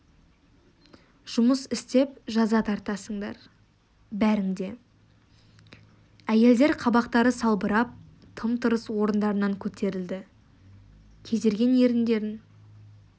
жұмыс істеп жаза тартасыңдар бәрің де әйелдер қабақтары салбырап тым-тырыс орындарынан көтерілді кезерген еріндерін